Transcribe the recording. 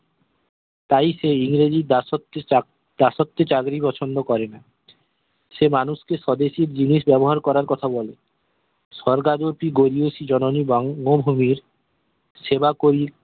তাই সেই ইংরেজি দাসত্ব চাকরি পছন্দ করেনা সে মানুষ কে স্বদেশি জিনিস ব্যবহার করার কথা বলে স্বগার্জ্যোতি গোরি ওসির জননী এবং নুর ভূমির সেবা করি